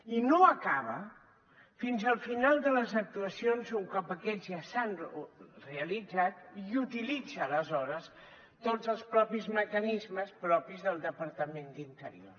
i no acaba fins al final de les actuacions un cop aquestes ja s’han realitzat i utilitza aleshores tots els propis mecanismes propis del departament d’interior